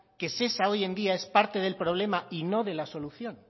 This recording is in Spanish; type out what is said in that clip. que shesa hoy en día es parte del problema y no de la solución